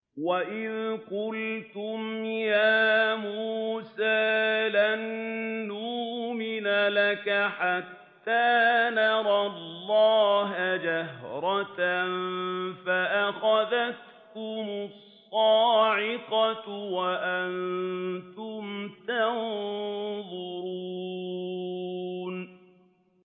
وَإِذْ قُلْتُمْ يَا مُوسَىٰ لَن نُّؤْمِنَ لَكَ حَتَّىٰ نَرَى اللَّهَ جَهْرَةً فَأَخَذَتْكُمُ الصَّاعِقَةُ وَأَنتُمْ تَنظُرُونَ